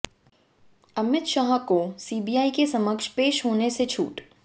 अमित शाह को सीबीआई के समक्ष पेश होने से छूट